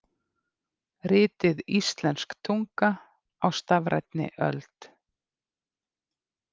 Ritið Íslensk tunga á stafrænni öld.